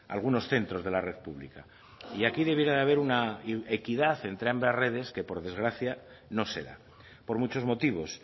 algunos centros de la red pública y aquí debiera de haber una equidad entre ambas redes que por desgracia no se da por muchos motivos